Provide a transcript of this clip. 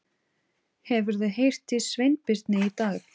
Hefurðu heyrt í Sveinbirni í dag?